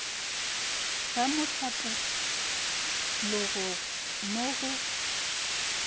ga mohlapo logo mo go